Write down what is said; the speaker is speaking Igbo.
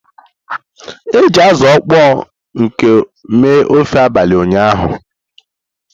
E ji azụ kpọrọ nkụ mee ofe abalị ụnyaahụ.